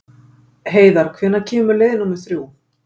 Heiðarr, hvenær kemur leið númer þrjú?